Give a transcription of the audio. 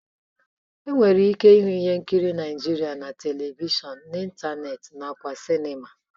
E nwere ike ịhụ ihe nkiri Naịjirịa na Televishọn, n'ịntanetị nakwa na sịnịma.